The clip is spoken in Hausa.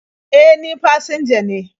E, ni fasinja ne..